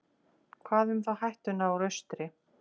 Hvað þá um hættuna úr austri?